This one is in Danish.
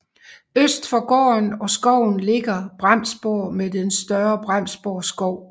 Øst for gården og skoven ligger Bremsborg med den større Bremsborg Skov